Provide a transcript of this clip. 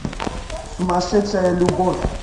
сумасшедшая любовь